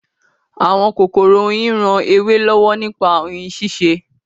Àwọn kòkòrò oyin ran ewé lọ́wọ́ nípa oyin ṣíṣe